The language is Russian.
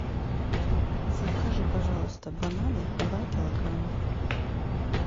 закажи пожалуйста бананы два килограмма